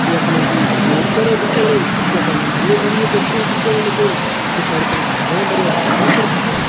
यख मा जी गेट करा दिखेणु यखम हरयूं भरयूं ढोकरू दिखेण लग्युं पिछाड़ी फणा हरयां भरयां डाला कर भी छन।